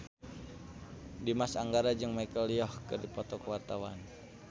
Dimas Anggara jeung Michelle Yeoh keur dipoto ku wartawan